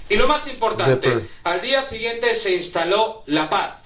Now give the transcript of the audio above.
Y lo más importante al día siguiente se instaló la paz.